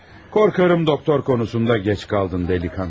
Qorxuram, doktor konusunda gec qaldın, dəliqanlı.